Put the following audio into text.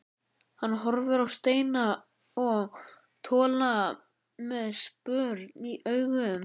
Hann horfir á Steina og Tolla með spurn í augum.